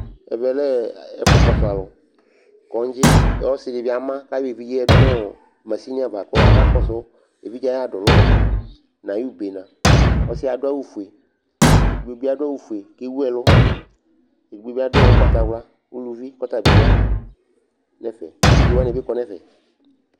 Ɛvɛ lɛ ɛfʋkɔsʋ alʋ, kɔŋdzɩ kʋ ɔsɩ dɩ bɩ ama kʋ ayɔ evidze yɛ yǝdu nʋ masini ava kʋ akakɔsʋ evidze yɛ ayʋ adʋlʋna nʋ ayʋ ubene Ɔsɩ yɛ adʋ awʋfue Ɛdɩnɩ bɩ adʋ awʋfue kʋ ewu ɛlʋ Edigbo bɩ adʋ ʋgbatawla uluvi kʋ ɔta bɩ ya nʋ ɛfɛ Atike wanɩ bɩ kɔ nʋ ɛfɛ